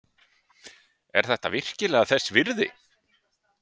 Er þetta virkilega þess virði?